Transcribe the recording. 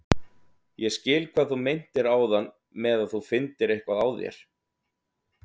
Ég skil hvað þú meintir áðan með að þú finndir eitthvað á þér.